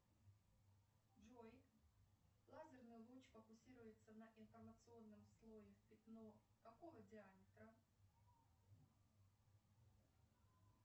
джой лазерный луч фокусируется на информационном слое в пятно какого диаметра